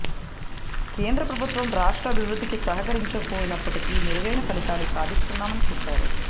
కేంద్ర ప్రభుత్వం రాష్ట్ర అభివృద్ధికి సహాకరించకపోయిన్పటికీ మెరుగైన ఫలితాలు సాధిస్తున్నామని చెప్పారు